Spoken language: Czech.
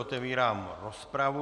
Otevírám rozpravu.